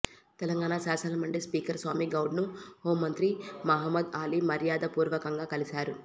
తెలంగాణ శాసనమండలి స్పీకర్ స్వామి గౌడ్ను హోంమంత్రి మహమూద్ అలీ మర్యాదపూర్వకంగా కలిశారు